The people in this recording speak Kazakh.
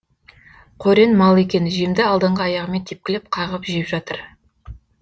қорен мал екен жемді алдыңғы аяғымен тепкілеп қағып жеп жатыр